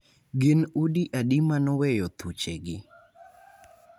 Gin udi adi ma noweyo thuchegi?